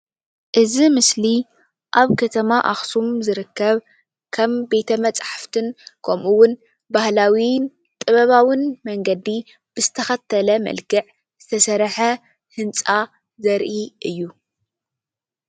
እዚ ምስሊ ኣብ ከተማ ኣክሱም ዝርከብ ከም በተመፃሕፍቲን ከምኡ ውን ባህላዉን ጥበባውን መንገዲ ብዝተከተለ መልክዕ ዝተሰርሕ ህንፃ ዘርኢ እዩ።